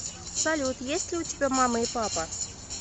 салют есть ли у тебя мама и папа